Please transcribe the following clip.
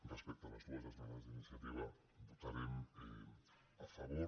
respecte a les dues esmenes d’iniciativa hi votarem a favor